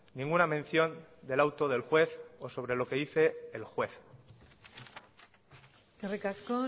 ninguna mención del auto del juez o sobre lo que dice el juez eskerrik asko